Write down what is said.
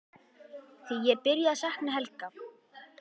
Því ég er byrjuð að sakna Helga.